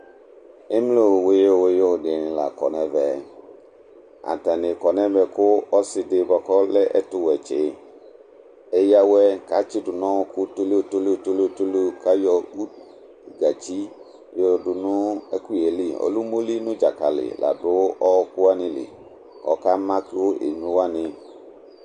Emlo wuyiu wuyiu dini la kɔ n'ɛvɛ Atani kɔ n'ɛmɛ ku ɔsi di bua k'ɔlɛ ɛtuwɛ tsi eyǝ'wɛ k'atsi du n'ɔku tolio tolio tolio tolio k'ayɔ utu gatsi y'ɔdu nu ɛku yɛ lɩ Ɔlɛ umoli nu dzakali la du ɔku wani lɩ, ɔka ma ku emlo wani